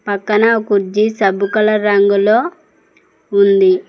పక్కన కుర్చీ సబ్బు కల రంగులో ఉంది.